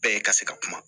Bɛɛ ka se ka kuma